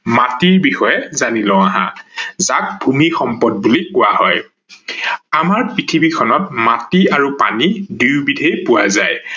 মাটি বিষয়ে জানি লও আহা যাক ভূমি সম্পদ বুলি কোৱা হয় ।আমাৰ পৃথিৱী খনত মাটি আৰু পানী দুয়ো বিধেই পোৱা যায়।